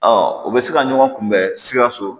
o bɛ se ka ɲɔgɔn kunbɛn sikaso